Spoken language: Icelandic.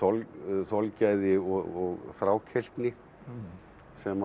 þolgæði og þrákelkni sem